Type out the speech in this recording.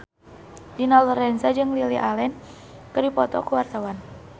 Dina Lorenza jeung Lily Allen keur dipoto ku wartawan